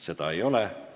Seda ei ole.